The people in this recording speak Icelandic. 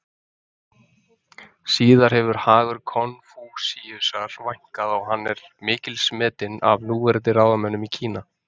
Síðar hefur hagur Konfúsíusar vænkað og hann er mikils metinn af núverandi ráðamönnum í Kína.